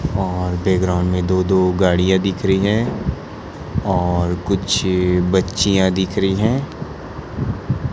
और बैकग्राउंड में दो दो गाड़ियां दिख रही हैं और कुछ बच्चियां दिख रही हैं।